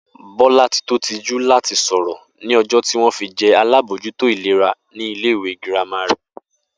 Bó̩látitó tijú láti sò̩rò̩ ní o̩jó̩ tí wó̩n fi je̩ alábòójútó ìlera ní ilé ìwé girama rè